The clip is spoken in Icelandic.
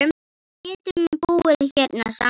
Við getum búið hérna saman.